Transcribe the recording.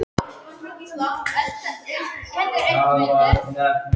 Höskuldur: Hafið þið gert þetta áður?